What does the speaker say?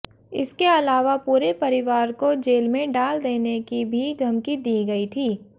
इसके अलावा पूरे परिवार को जेल में डाल देने की भी धमकी दी गई थी